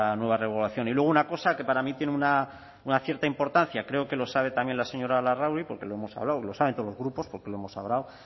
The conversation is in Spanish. nueva regulación y luego una cosa que para mí tiene una cierta importancia creo que lo sabe también la señora larrauri porque lo hemos hablado lo saben todos los grupos porque lo hemos hablado